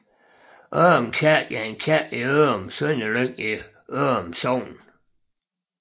Ørum Kirke er en kirke i Ørum Sønderlyng i Ørum Sogn